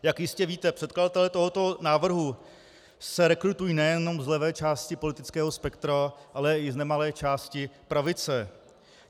Jak jistě víte, předkladatelé tohoto návrhu se rekrutují nejenom z levé části politického spektra, ale i z nemalé části pravice.